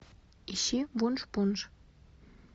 ищи вуншпунш